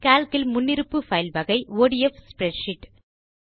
Calc இல் முன்னிருப்பு file வகை ஒடிஎஃப் ஸ்ப்ரெட்ஷீட்